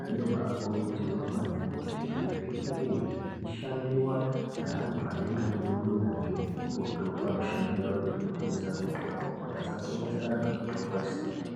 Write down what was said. zvinobakurudzirwa maningi kuti zvinge zvichashandiva ngeantu anenge aine unyanzvi hukurutu pamishando yavo yekutengesa mitombo. Kuti asatengesera antu mitombo isiriyo.